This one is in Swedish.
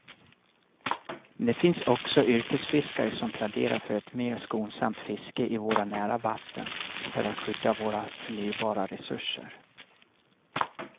Men det finns också yrkesfiskare som pläderar för ett mer skonsamt fiske i våra nära vatten för att skydda våra förnybara resurser.